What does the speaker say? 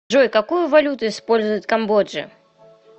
джой какую валюту использовать в камбодже